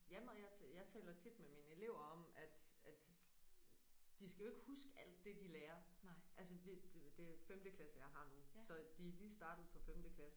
Ja men og jeg jeg taler tit med mine elever om at at de skal jo ikke huske alt det de lærer altså det det er femte klasse jeg har nu så de er lige startet på femte klasse